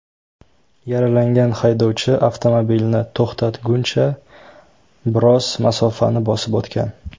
Yaralangan haydovchi avtomobilni to‘xtatguncha, biroz masofani bosib o‘tgan.